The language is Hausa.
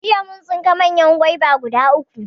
Jiya mun tsinka manyan goba guda uku